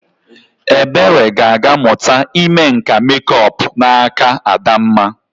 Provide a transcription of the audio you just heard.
Ebere ga-aga mụta ime nka mekup n'aka Adamma.